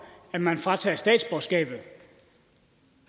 at man fratager statsborgerskabet